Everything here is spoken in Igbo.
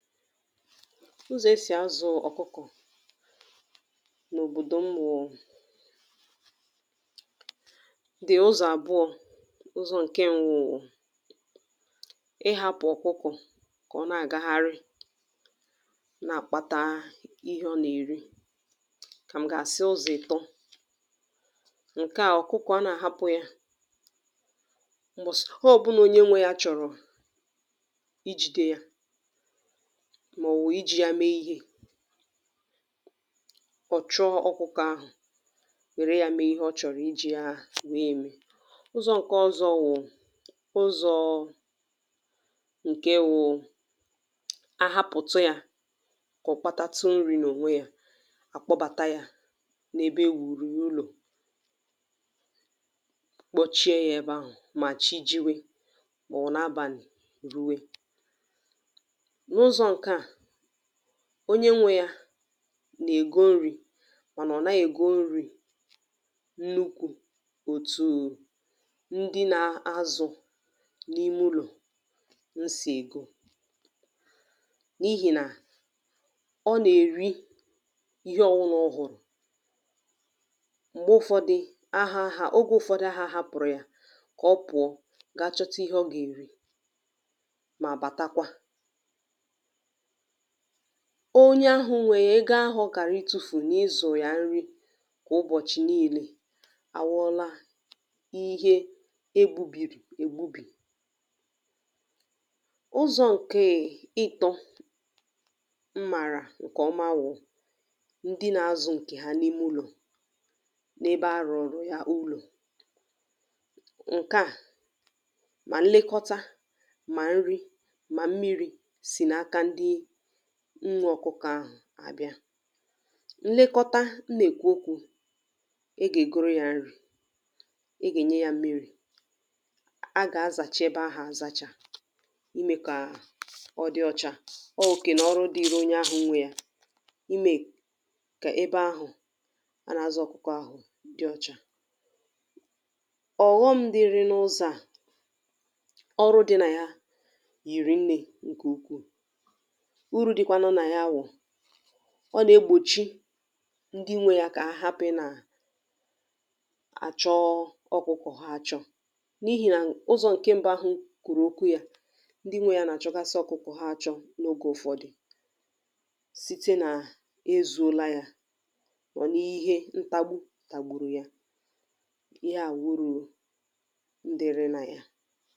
ụzọ̀ e sì azụ̄ ọ̀kụkọ̀ n’òbòdò m wụ, dị̀ ụzọ̀ àbụọ̄ ụzọ, ụzọ̀ nkẹ mbụ bụ̀ ịhāpụ̀ ọ̀kụkọ̀ kà ọ nà àgagharị, nà àkpata ịhẹ ọ nà èri, kà m gà asị ụzọ̀ ị̀tọ. ǹkẹ à, ọ̀kụkọ̀ a nà àhapụ ya, m̀bọ̀sị ọbụla onye nwẹrẹ ya chọ̀rọ̀ ijīde ya mà ọ̀ wụ̀ ijī ya me ihē, ọʃ̀ chụọ ọkụkọ̀ ahụ̀, wère ya me ịhẹ ọ chọ̀rọ̀ ijī ya wèe me. ụzọ̄ ǹkẹ ọzọ wụ̀ ụzọ̄ ǹke wụ, ụzọ ǹkẹ wụ, ahapụ̀tu ya kà ọ kpatatụ nrī nà ònwe ya, àkpọbàta y a nà ebe e wùrù yà ụlọ̀, kpọchie yā ebe ahụ̀ mà chi jiwe, mà ọ̀ bụ abàli ruwe. n’ụzọ̄ nkẹà, onye nwẹ ya nà ègo nrī, mànà ọ̀ naghị ègo nrī nnukwū òtù ndị na azụ n’imẹ ụlọ̀ n sì ègo, n’ihì nà ọ nà èri ịhẹ ọwụna ọ hụ̀rụ̀. m̀gbe ụfọdụ ahāpụ̀rụ̀ ya kà ọ pụ̀ọ ga chọta ịhẹ ọ gà èri mà bàtakwa, onye ahụ nwe ya, ego ahụ ọ kàrà I tūfù nà ịzụ̀ yà nri, kwà ụbọ̀chị̀ nille, àwụọla ihẹ e gbūbìrì è gbubì. ụzọ̄ ǹkè ịtọ m màrà ǹkẹ̀ ọma wụ̀, ndị na azụ̄ ǹkẹ̀ ha n’ime ụlọ̀, n’ebe a rụ̀rụ̀ yà ụlọ̀. ǹkẹ à, mà nlekọta, mà nri, mà mmirī, sì n’aka ndị nwē ọkụkọ̀ ahụ̀ àbịa. nlekọta m nà èkwu okwū, a gà ègoro ya nri, a gà ènye ya mmirī, a gà azàcha ebe ahụ̀ azacha, ijī mẹ yā kà ọ dị ọcha. ọ òkè nà ọrụ dịri onye ahụ̄ nwe ya, ime kà ebe a nà azụ̄ ọkụkọ̀ ahụ̀ dị ocha. ọ̀ghọm dị nà ụzọ, ọrụ dị̄ nà yìrì nnē ǹkẹ̀ ukwù. urū dịkwa nà ya bụ̀ nà ọ nà egbòchi ndi nwe ya kà ha hapụ ị nà àchọ ọkụkọ̀ ha acho, n’ihì nà ụzọ̄ ǹkẹ mbụ ahụ m kwùrù okwu ya, ndị nwẹ ya nà àchọgasị ọkụkọ̀ ha achọ ogē ụfọdi, site nà e zuola ya, mà ọ̀ nà ihe ntàgbu tàgbùrù ya. ịhẹ à wụ̀ ụrụ̄ ndịrị nà ya.